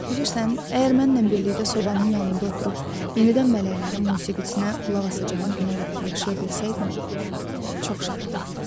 Bilirsən, əgər mənlə birlikdə sobanın yanında oturub yenidən mələklərin musiqisinə qulaq asacağın günə qədər yaşaya bilsəydim, çox şad olardım.